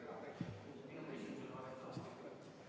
Aitäh!